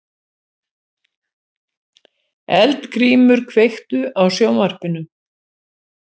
Eldgrímur, kveiktu á sjónvarpinu.